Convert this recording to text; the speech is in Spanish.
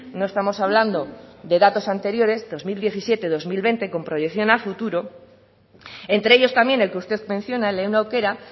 no estamos hablando de datos anteriores dos mil diecisiete dos mil veinte con proyección a futuro entre ellos también el que usted menciona lehen aukera